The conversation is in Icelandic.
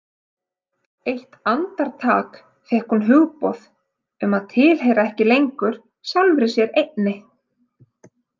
Eitt andartak fékk hún hugboð um að tilheyra ekki lengur sjálfri sér einni.